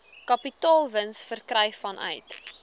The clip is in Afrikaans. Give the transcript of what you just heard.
kapitaalwins verkry vanuit